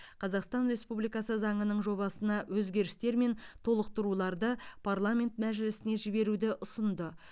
қазақстан республикасы заңының жобасына өзгерістер мен толықтыруларды парламент мәжілісіне жіберуді ұсынды